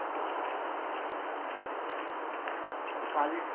কাল~